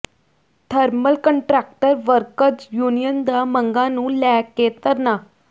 thermal contractor workers union ਦਾ ਮੰਗਾਂ ਨੂੰ ਲੈ ਕੇ ਧਰਨਾ